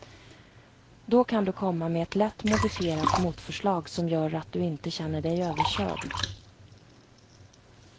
Då kan du komma med ett lätt modifierat motförslag, som gör att du inte känner dig överkörd.